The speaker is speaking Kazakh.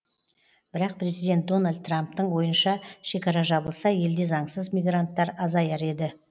бірақ президент дональд трамптың ойынша шекара жабылса елде заңсыз мигранттар азаяр еді